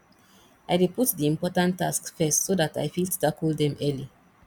i dey put di important tasks first so dat i fit tackle dem early